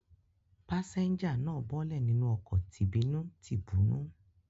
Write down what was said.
Pásẹ́ńjà náà bọ́lẹ̀ nínú ọkọ̀ tìbínú-tibúnú.